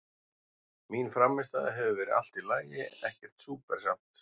Mín frammistaða hefur verið allt í lagi, ekkert súper samt.